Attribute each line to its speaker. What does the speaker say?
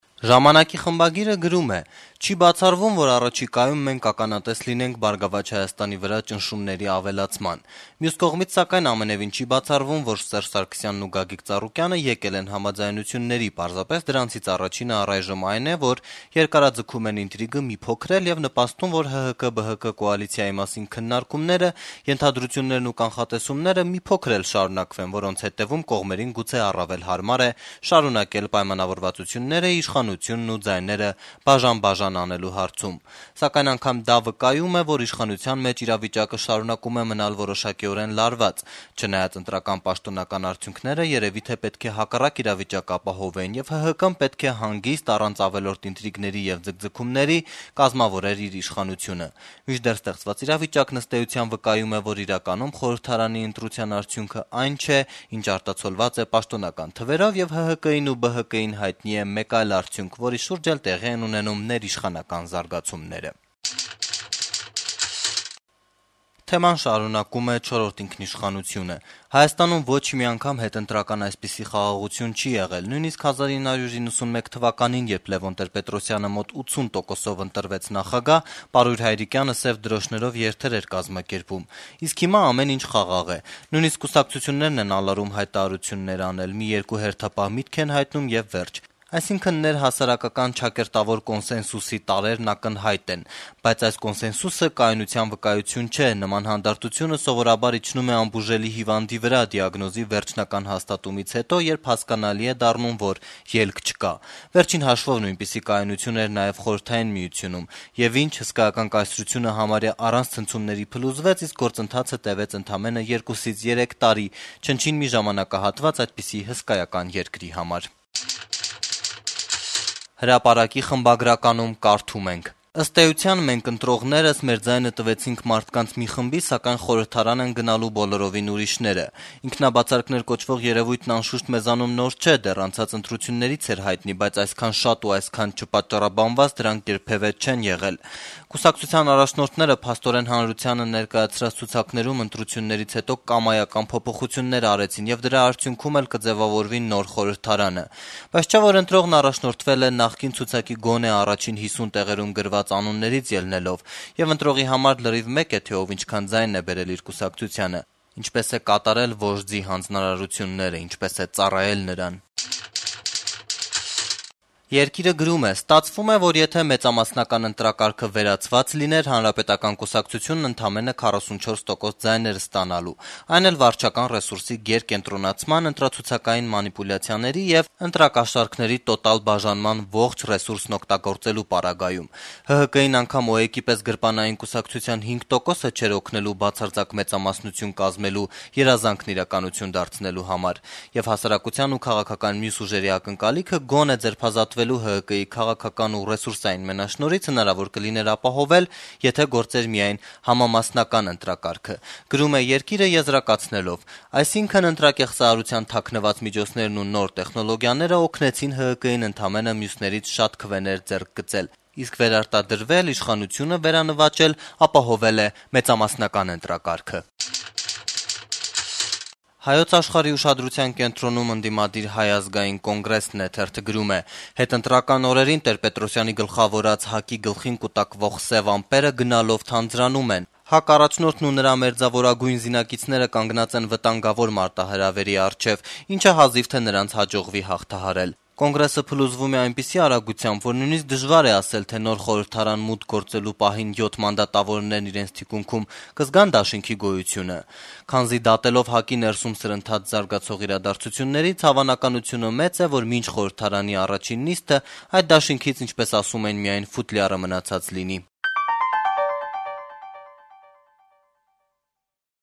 Speaker 1: «Ժամանակ»-ի խմբագիրը գրում է. - «Չի բացառվում, որ առաջիկայում մենք ականատես լինենք «Բարգավաճ Հայաստանի» վրա ճնշումների ավելացման: Մյուս կողմից, սակայն, ամենեւին չի բացառվում, որ Սերժ Սարգսյանն ու Գագիկ Ծառուկյանը եկել են համաձայնությունների, պարզապես դրանցից առաջինը առայժմ այն է, որ երկարաձգում են ինտրիգը մի փոքր էլ եւ նպաստում, որ ՀՀԿ-ԲՀԿ կոալիցիայի մասին քննարկումները, ենթադրություններն ու կանխատեսումները մի փոքր էլ շարունակվեն, որոնց հետեւում կողմերին գուցե առավել հարմար է շարունակել պայմանավորվածությունները իշխանությունն ու ձայները բաժան-բաժան անելու հարցում: Սակայն անգամ դա վկայում է, որ իշխանության մեջ իրավիճակը շարունակում է մնալ որոշակիորեն լարված, չնայած ընտրական պաշտոնական արդյունքները երեւի թե պետք է հակառակ իրավիճակ ապահովեին, եւ ՀՀԿ-ն պետք է հանգիստ, առանց ավելորդ ինտրիգների եւ ձգձգումների կազմավորեր իր իշխանությունը: Մինչդեռ ստեղծված իրավիճակն, ըստ էության, վկայում է, որ իրականում խորհրդարանի ընտրության արդյունքը այն չէ, ինչ արտացոլված է պաշտոնական թվերով, եւ ՀՀԿ-ին ու ԲՀԿ-ին հայտնի է մեկ այլ արդյունք, որի շուրջ էլ տեղի են ունենում ներիշխանական զարգացումները»: «Չորրորդ ինքնիշխանություն»-ը շարունակում է թեման. - «Հայաստանում ոչ մի անգամ հետընտրական այսպիսի խաղաղություն չի եղել: Նույնիսկ 1991 թվականին, երբ Լեւոն Տեր-Պետրոսյանը մոտ 80 տոկոսով ընտրվեց նախագահ, Պարույր Հայրիկյանը սեւ դրոշներով երթեր էր կազմակերպում: Իսկ հիմա ամեն ինչ խաղաղ է: Նույնիսկ կուսակցություններն են ալարում հայտարարություններ անել. մի երկու հերթապահ միտք են հայտնում, եւ վերջ: Այսինքն ներհասարական «կոնսենսուսի» տարրերն ակնհայտ են: Բայց այս կոնսենսուսը կայունության վկայություն չէ: Նման հանդարտությունը սովորաբար իջնում է անբուժելի հիվանդի վրա` դիագնոզի վերջնական հաստատումից հետո, երբ հասկանալի է դառնում, որ ելք չկա: Վերջին հաշվով նույնպիսի «կայունություն» էր նաեւ Խորհրդային Միությունում: Եվ ի՞նչ. հսկայական կայսրությունը համարյա առանց ցնցումների փլուզվեց, իսկ գործընթացը տեւեց ընդամենը 2-3 տարի` չնչին մի ժամանակահատված այդպիսի հսկայական երկրի համար»: «Հրապարակ»-ի խմբագիրը գրում է. -«Ըստ էության, մենք՝ ընտրողներս, մեր ձայնը տվեցինք մարդկանց մի խմբի, սակայն խորհրդարան են գնալու բոլորովին ուրիշները: Ինքնաբացարկներ կոչվող երեւույթն անշուշտ մեզանում նոր չէ՝ դեռ անցած ընտրություններից էր հայտնի, բայց այսքան շատ ու այսքան չպատճառաբանված դրանք երբեւէ չեն եղել: Կուսակցությունների առաջնորդները, փաստորեն, հանրությանը ներկայացրած ցուցակներում ընտրություններից հետո կամայական փոփոխություններ արեցին, եւ դրա արդյունքում էլ կձեւավորվի նոր խորհրդարանը: Բայց չէ՞ որ ընտրողն առաջնորդվել է նախկին ցուցակի՝ գոնե առաջին 50 տեղերում գրված անուններից ելնելով: Եվ ընտրողի համար լրիվ մեկ է, թե ով ինչքան ձայն է բերել իր կուսակցությանը, ինչպես է կատարել «վոժդի» հանձնարարությունները, ինչպես է ծառայել նրան»: «Երկիր»-ը գրում է. - «Ստացվում է, որ եթե մեծամասնական ընտրակարգը վերացված լիներ, Հանրապետական կուսակցությունն ընդամենը 44 տոկոս ձայն էր ստանալու` այն էլ վարչական ռեսուրսի գերկենտրոնացման, ընտրացուցակային մանիպուլյացիաների եւ ընտրակաշառքների տոտալ բաժանման ողջ ռեսուրսն օգտագործելու պարագայում: ՀՀԿ-ին անգամ ՕԵԿ-ի պես գրպանային կուսակցության 5 տոկոսը չէր օգնելու` բացարձակ մեծամասնություն կազմելու երազանքն իրականություն դարձնելու համար: Եվ հասարակության ու քաղաքական մյուս ուժերի ակնկալիքը` գոնե ձերբազատվել ՀՀԿ-ի քաղաքական ու ռեսուրսային մենաշնորհից, հնարավոր կլիներ ապահովել, եթե գործեր միայն համամասնական ընտրակարգը: Այսինքն` ընտրակեղծարարության թաքնված միջոցներն ու նոր տեխնոլոգիաները օգնեցին ՀՀԿ-ին ընդամենը մյուսներից շատ քվեներ ձեռք գցել: Իսկ վերարտադրվել, իշխանությունը վերանվաճել ապահովել է մեծամասնական ընտրակարգը»: «Հայոց աշխարհ»-ի ուշադրության կենտրոնում ընդդիմադիր Հայ ազգային կոնգրեսն է. - «Հետընտրական օրերին Տեր-Պետրոսյանի գլխավորած ՀԱԿ-ի գլխին կուտակվող սեւ ամպերը գնալով թանձրանում են: ՀԱԿ առաջնորդն ու նրա մերձավորագույն զինակիցները կանգնած են վտանգավոր մարտահրավերի առջեւ, ինչը հազիվ թե նրանց հաջողվի հաղթահարել: Կոնգրեսը փլուզվում է այնպիսի արագությամբ, որ նույնիսկ դժվար է ասել, թե նոր խորհրդարան մուտք գործելու պահին յոթ մանդատավորներն իրենց թիկունքում կզգա՞ն դաշինքի գոյությունը: Քանզի դատելով ՀԱԿ-ի ներսում սրընթաց զարգացող իրադարձություններից, հավանականությունը մեծ է, որ մինչ խորհրդարանի առաջին նիստը, այդ դաշինքից, ինչպես ասում են, միայն ֆուտլյարը մնացած լինի»: